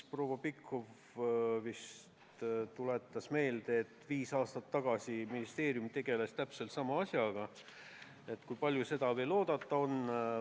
Proua Pikhof tuletas meelde, et viis aastat tagasi ministeerium tegeles täpselt sama asjaga, ja küsis, kui kaua seda veel oodata tuleb.